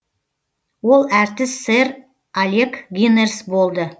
ол әртіс сэр алек гинерс болды